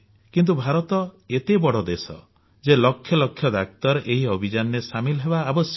କିନ୍ତୁ ଭାରତ ଏତେ ବଡ ଦେଶ ଯେ ଲକ୍ଷ ଲକ୍ଷ ଡାକ୍ତର ଏହି ଅଭିଯାନରେ ସାମିଲ ହେବା ଆବଶ୍ୟକ